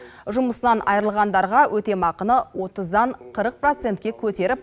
жұмысынан айырылғандарға өтемақыны отыздан қырық процентке көтеріп